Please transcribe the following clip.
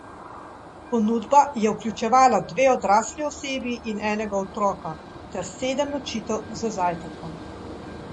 Prvič se je pri nas ustavil lani, ko je kot znanilec miru prečkal slovensko zemljo na svoji dvanajst tisoč petsto kilometrov dolgi poti od Pekinga do Londona.